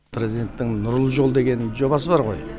президенттің нұрлы жол деген жобасы бар ғой